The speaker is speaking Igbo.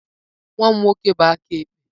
Nwa m nwoke bụ aka ekpe.